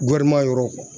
yɔrɔ